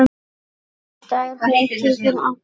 Þetta er hátíð fyrir alla.